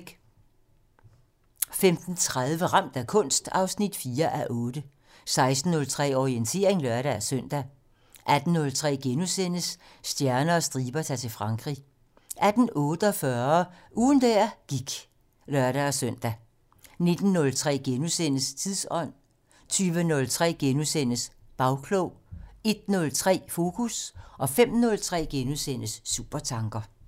15:30: Ramt af kunst 4:8 16:03: Orientering (lør-søn) 18:03: Stjerner og striber - Ta'r til Frankrig * 18:48: Ugen der gik (lør-søn) 19:03: Tidsånd * 20:03: Bagklog * 01:03: Fokus 05:03: Supertanker *